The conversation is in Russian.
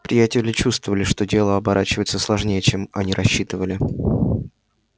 приятели чувствовали что дело оборачивается сложнее чем они рассчитывали